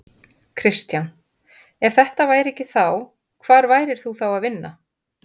Kristján: Ef þetta væri ekki þá, hvar værir þú þá að vinna?